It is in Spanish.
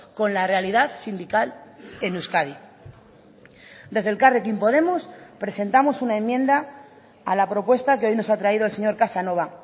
con la realidad sindical en euskadi desde elkarrekin podemos presentamos una enmienda a la propuesta que hoy nos ha traído el señor casanova